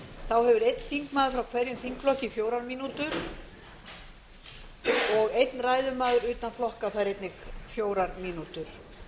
þá hefur einn þingmaður frá hverjum þingflokki fjórar mínútur hver og einn ræðumaður utan flokka fær einnig fjórar mínútur